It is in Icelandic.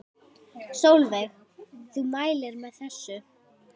Sólveig: Þú mælir með þessu?